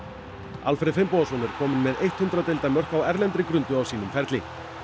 Alfreð Finnbogason er kominn með eitt hundrað deildarmörk á erlendri grundu á sínum ferli